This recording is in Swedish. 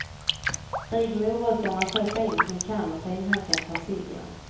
Riv morötterna så fint ni kan och finhacka persiljan.